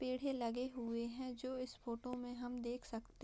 पेड़ है लगे हुए हैं जो इस फोटो में हम देख सकते --